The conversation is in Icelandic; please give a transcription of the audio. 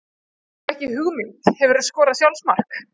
Hef ekki hugmynd Hefurðu skorað sjálfsmark?